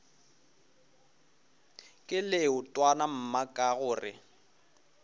ke leetwana mma ka gore